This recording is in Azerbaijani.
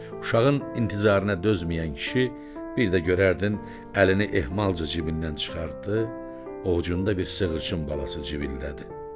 Uşağın intizarına dözməyən kişi bir də görərdin əlini ehmalca cibindən çıxartdı, ovcunda bir sığırçın balası civildədi.